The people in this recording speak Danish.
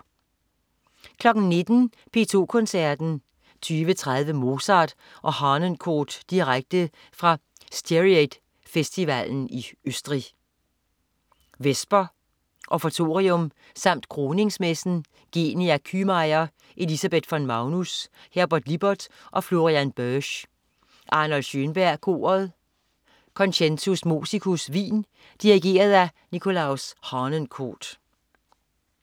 19.00 P2 Koncerten. 20.30 Mozart og Harnoncourt direkte fra Styriate Festivalen i Østrig. Vesper, Offertorium samt Kroningsmessen. Genia Kühmeier, Elisabeth von Magnus, Herbert Lippert og Florian Boesch. Arnold Schönberg Koret. Concentus Musicus, Wien. Dirigent: Nikolaus Harnoncourt